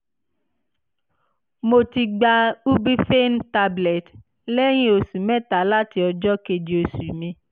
mo ti gba ubiphene tablet lẹ́yìn oṣù mẹ́ta láti ọjọ́ kejì oṣù mi